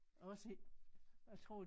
Også jeg tror